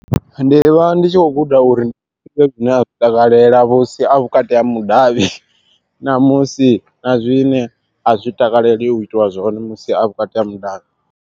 Ndi vha ndi tshi khou guda uri i vhe zwine a zwi takalela musi a vhukati ha mudavhi namusi na zwine a zwi takaleliwi u itiwa zwone musi a vhukati ha mudavhi.